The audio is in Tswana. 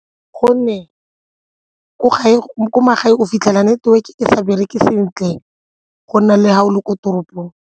Gonne ko magaeng o fitlhela network-e e sa bereke sentle go nna le ga o le ko toropong.